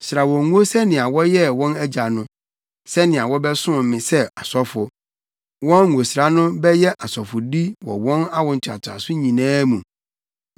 Sra wɔn ngo sɛnea woyɛɛ wɔn agya no, sɛnea wɔbɛsom me sɛ asɔfo. Wɔn ngosra no bɛyɛ asɔfodi wɔ wɔn awo ntoatoaso nyinaa mu.”